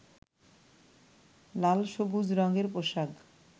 লাল-সবুজ রঙের পোশাক